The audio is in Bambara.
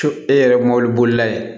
So e yɛrɛ mɔbilibolila ye